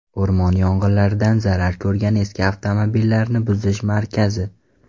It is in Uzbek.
O‘rmon yong‘inlaridan zarar ko‘rgan eski avtomobillarni buzish markazi.